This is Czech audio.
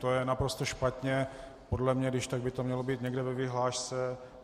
To je naprosto špatně podle mě, když tak by to mělo být někde ve vyhlášce.